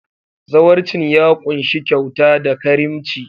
Zawarcin ya ƙunshi kyauta da karimci.